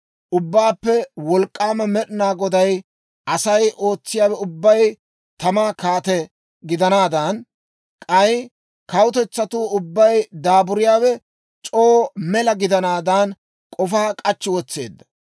Ubbaappe Wolk'k'aama Med'ina Goday Asay ootsiyaawe ubbay tamaa kaate gidanaadan, k'ay kawutetsatuu ubbay daaburiyaawe c'oo mela gidanaadan, k'ofaa k'achchi wotseedda.